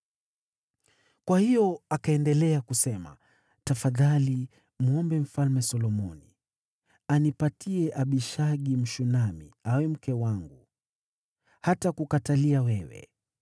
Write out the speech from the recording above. Kwa hiyo akaendelea kusema, “Tafadhali mwombe Mfalme Solomoni, anipatie Abishagi, Mshunami, awe mke wangu; hatakukatalia wewe.”